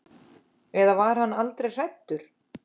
En var hann aldrei hræddur?